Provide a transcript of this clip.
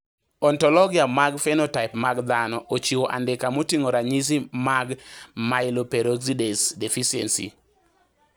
Ontologia mar phenotype mag dhano ochiwo andika moting`o ranyisi magMyeloperoxidase deficiency.